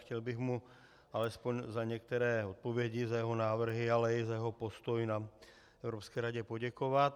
Chtěl bych mu alespoň za některé odpovědi, za jeho návrhy, ale i za jeho postoj na Evropské radě poděkovat.